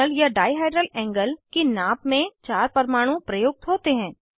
torsional या dihedral angle की नाप में चार परमाणु प्रयुक्त होते हैं